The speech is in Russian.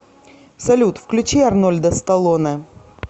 салют включи арнольда сталоне